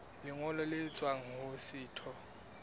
lengolo le tswang ho setho